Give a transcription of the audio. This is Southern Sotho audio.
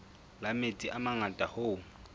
la metsi a mangata hoo